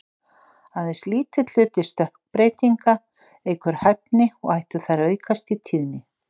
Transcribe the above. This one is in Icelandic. Aðeins lítill hluti stökkbreytinga eykur hæfni, og ættu þær að aukast í tíðni.